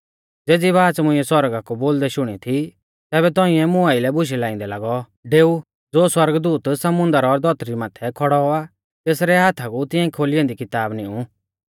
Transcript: ज़ेज़ी बाच़ मुंइऐ सौरगा कु बोलदै शुणी थी तैबै तौंइऐ मुं आइलै बुशै लाइंदै लागौ कि डेऊ ज़ो सौरगदूत समुन्दर और धौतरी माथै खौड़ौ आ तेसरै हाथा कु तिऐं खोली ऐन्दी किताब निऊं